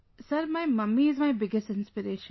Sir, my mummy is my biggest inspiration